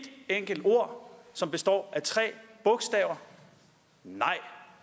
enkelt ord som består af tre bogstaver nej